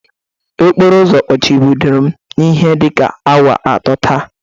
Okporo ụzọ kpuchibidoro m ihi dịka awa atọ taa.